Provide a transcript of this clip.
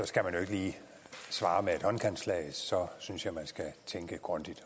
skal man jo ikke lige svare med et håndkantslag så synes jeg man skal tænke grundigt